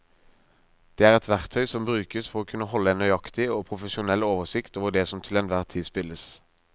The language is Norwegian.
Det er et verktøy som brukes for å kunne holde en nøyaktig og profesjonell oversikt over det som til enhver tid spilles.